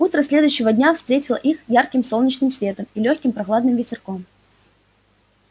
утро следующего дня встретило их ярким солнечным светом и лёгким прохладным ветерком